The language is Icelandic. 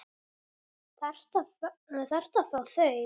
Þarftu að fá þau?